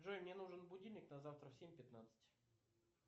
джой мне нужен будильник на завтра в семь пятнадцать